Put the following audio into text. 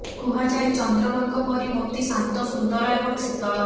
କୁହାଯାଏ ଚନ୍ଦ୍ରମାଙ୍କ ପରି ମୋତି ଶାନ୍ତ ସୁନ୍ଦର ଏବଂ ଶୀତଳ